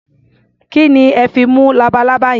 Kí ni ẹ fi mú labalábá yẹn?